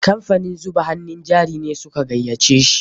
Kamfanin zuba hannun jari ne su ka gayyace shi.